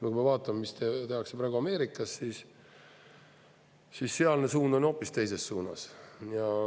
Ja kui me vaatame, mis tehakse praegu Ameerikas, siis sealne suund on hoopis teises suunas.